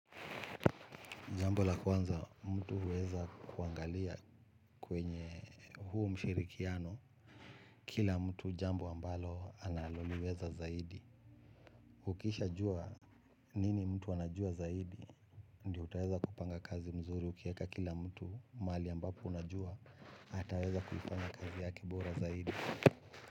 Jambo la kwanza mtu huweza kuangalia kwenye huu mshirikiano. Kila mtu jambo ambalo analoliweza zaidi. Ukishajua nini mtu anajua zaidi. Ndio utaweza kupanga kazi nzuri ukieka kila mtu mahali ambapo unajua. Ataweza kupanga kazi yake bora zaidi.